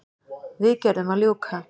Viðgerðum að ljúka